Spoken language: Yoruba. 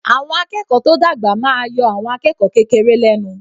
Àwọn akẹ́kọ̀ọ́ tó dàgbà máa yọ àwọn akẹ́kọ̀ọ́ kékeré lẹ́nu.